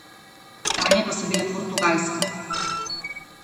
Sanje pa so bile Portugalska.